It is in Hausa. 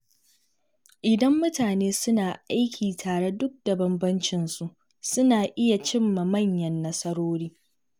Idan mutane suna aiki tare duk da bambancin su, suna iya cimma manyan nasarori.